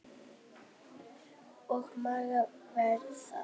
Og Mara var það.